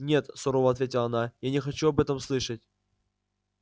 нет сурово ответила она я не хочу об этом слышать